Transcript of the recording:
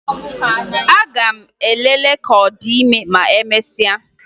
Aga m elele ka ọ dị ime ma emesịa